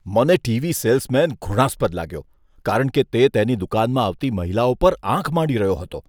મને TV salesman ઘૃણાસ્પદ લાગ્યો, કારણ કે તે તેની દુકાનમાં આવતી મહિલાઓ પર આંખ માંડી રહ્યો હતો.